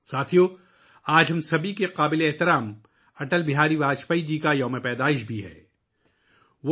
ساتھیو ، آج اٹل بہاری واجپئی جی کا بھی یوم پیدائش ہے، جو ہم سب کے لیے قابل احترام ہیں